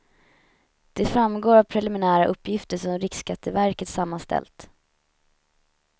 Det framgår av preliminära uppgifter som riksskatteverket sammanställt.